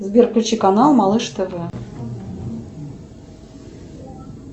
сбер включи канал малыш тв